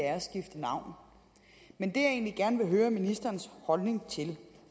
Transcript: navn men det jeg egentlig gerne vil høre ministerens holdning til